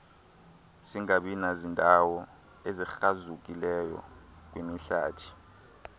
singabinazindawo ezikrazukileyo kwimihlathi